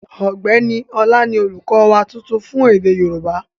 Ọ̀gbẹ́ni Ọlá ni olùkọ́ wa tuntun fún èdè yóòbá